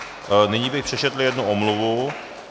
Nyní bych přečetl jednu omluvu.